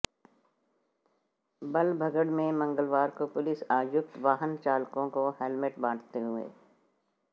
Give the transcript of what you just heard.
बल्लभगढ़ में मंगलवार को पुलिस आयुक्त वाहन चालकों को हेलमेट बांटते हुए